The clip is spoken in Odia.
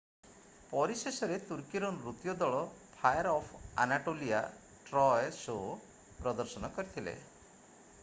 ପରିଶେଷରେ ତୁର୍କୀର ନୃତ୍ୟ ଦଳ Fire of Anatolia Troy show ପ୍ରଦର୍ଶନ କରିଥିଲେ